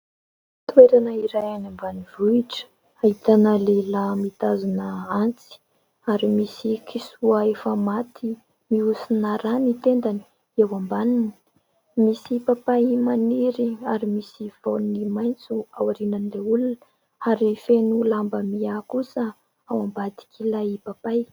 Toerana iray any ambanivohitra ahitana lehilahy mitazona antsy ary misy kisoa efa maty mihosina ra ny tendany eo ambaniny. Misy papay maniry ary misy voany maitso ao aorian'ilay olona ary feno lamba miaha kosa ao am-badik'ilay papay.